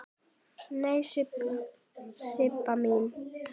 Nei, Sibba mín.